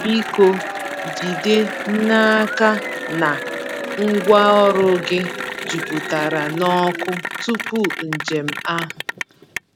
Biko jide n’aka na ngwaọrụ gị juputara n’ọkụ tupu njem ahụ.